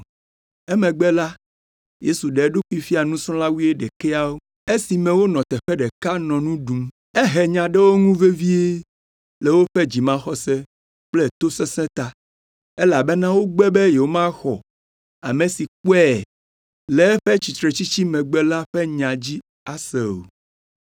Emegbe la, Yesu ɖe eɖokui fia nusrɔ̃la wuiɖekɛawo esime wonɔ teƒe ɖeka nɔ nu ɖum. Ehe nya ɖe wo ŋu vevie le woƒe dzimaxɔse kple tosesẽ ta, elabena wogbe be yewomaxɔ ame siwo kpɔe le eƒe tsitretsitsi megbe la ƒe nya dzi ase o.